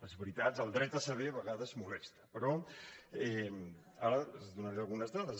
és veritat el dret a saber a vegades molesta però ara els donaré algunes dades